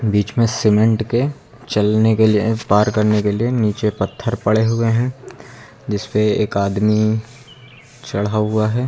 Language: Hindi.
बीच में सीमेंट के चलने के लिए पार करने के लिए नीचे पत्थर पड़े हुए हैं जिसपे एक आदमी चढ़ा हुआ है।